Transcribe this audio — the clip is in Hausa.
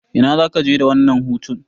Ina zaka je da wannan hutun?